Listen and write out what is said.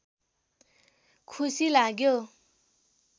खुसी लाग्यो